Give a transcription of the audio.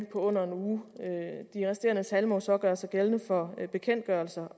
på under en uge de resterende tal må så gøre sig gældende for bekendtgørelser